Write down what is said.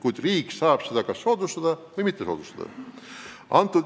Kuid riik saab seda kas soodustada või mitte soodustada.